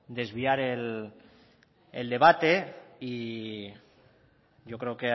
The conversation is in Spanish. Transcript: desviar el debate y yo creo